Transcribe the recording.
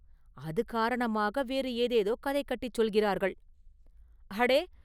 அது காரணமாக வேறு ஏதேதோ கதை கட்டிச் சொல்கிறார்கள்!… “அடே"!